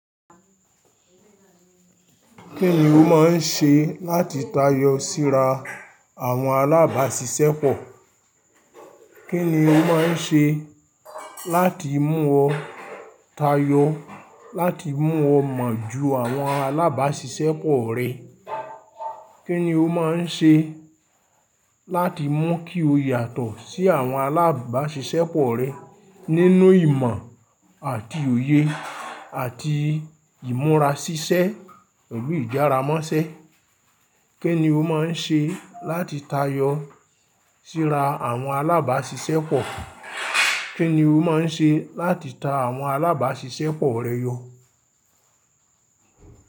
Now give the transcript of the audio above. Kí ni o máà ń ṣe láti tayọ síra àwọn alábàáṣiṣẹ́pọ̀? Kí ni o máà ń ṣe láti mú ọ́ tayọ, láti mú ọ mọ̀ ju àwọn alábàáṣiṣẹ́pọ̀ rẹ? Kí ni o máà ń ṣe láti mú kí o yàtọ̀ sí àwọn alábàáṣiṣẹ́pọ̀ rẹ nínú ìmọ̀ àti òye àti ìmúra ṣíṣẹ́, pẹ̀lù ìjára mọ́sẹ́. Kí ni o máà ń ṣe láti tayọ síra àwọn alábàáṣiṣẹ́pọ̀? Kí ni o máà ń ṣe láti ta àwọn alábàáṣiṣẹ́pọ̀ rẹ yọ̀?